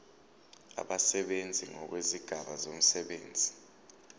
abasebenzi ngokwezigaba zomsebenzi